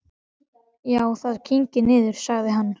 Já, það kyngir niður, sagði hann.